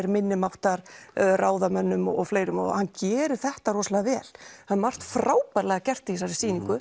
minnimáttar ráðamönnum og fleira og hann gerir þetta rosalega vel það er margt frábærlega gert í þessari sýningu